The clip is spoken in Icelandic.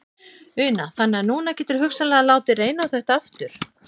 Una: Þannig að núna geturðu hugsanlega látið reyna á þetta aftur?